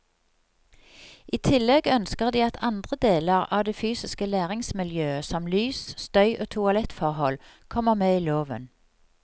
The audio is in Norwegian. I tillegg ønsker de at andre deler av det fysiske læringsmiljøet, som lys, støy og toalettforhold, kommer med i loven.